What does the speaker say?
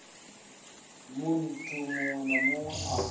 munthu muṅwe na muṅwe a